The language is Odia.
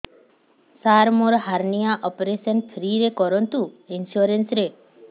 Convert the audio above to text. ସାର ମୋର ହାରନିଆ ଅପେରସନ ଫ୍ରି ରେ କରନ୍ତୁ ଇନ୍ସୁରେନ୍ସ ରେ